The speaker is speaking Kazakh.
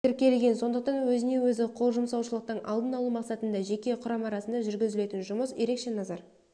тіркелген сондықтан өзіне-өзі қол жұмсаушылықтың алдын алу мақсатында жеке құрам арасында жүргізілетін жұмыс ерекше назар